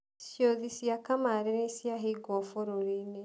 Ciũthi cia kamari nĩciahingũo bũrũrinĩ.